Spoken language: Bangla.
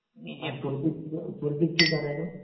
পরদীপ, পরদীপ কি করে এখন?